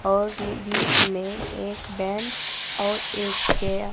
और नी बीच में एक बेंच और एक चेयर ।